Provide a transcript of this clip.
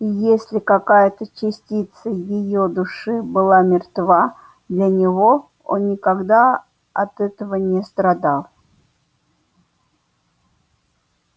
и если какая-то частица её души была мертва для него он никогда от этого не страдал